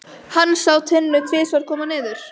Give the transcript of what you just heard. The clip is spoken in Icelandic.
Hann sá Tinnu tvisvar koma niður.